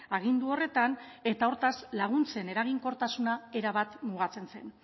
agindu horretan eta hortaz laguntzen eraginkortasuna erabat mugatzen zen